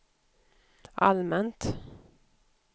allmänt